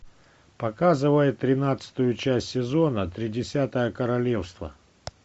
показывай тринадцатую часть сезона тридесятое королевство